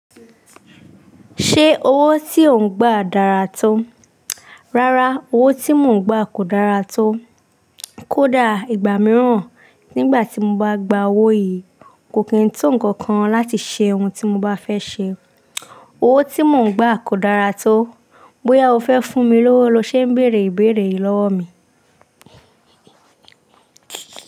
Ṣé owó tí ò ń gbà dára tó? Rárá owó tí mò ń gbà kò dára tó. Kódà ìgbà mìíràn nigba tí mo bá gba owó yìí kò kí ń to nǹkan kan láti ṣe ohun tí mo bá fẹ́ ṣe. Owó tí mò ń gbà kò dára tó. Bóyá o fẹ́ fún mi lówó lọ ṣé ń béèrè béèrè lọ́wọ́ mi.